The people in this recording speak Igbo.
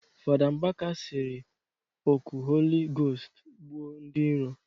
Fada Mbaka sịrị ọkụ holi gost gbuo ndị iro